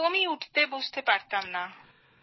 একদমই উঠতে বসতে পারতাম না